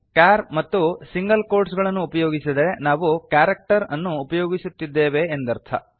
char ಮತ್ತು single quotes ಗಳನ್ನು ಉಪಯೋಗಿಸಿದರೆ ನಾವು ಕ್ಯಾರೆಕ್ಟರ್ ಅನ್ನು ಉಪಯೋಗಿಸುತ್ತಿದ್ದೇವೆ ಎಂದರ್ಥ